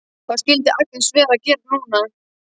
Hvað skyldi Agnes vera að gera núna?